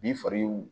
Bin faga y'u